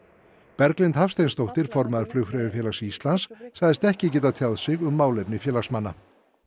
Berglind Hafsteinsdóttir formaður Flugfreyjufélags Íslands sagðist ekki geta tjáð sig um málefni félagsmanna